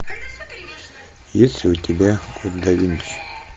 есть ли у тебя код да винчи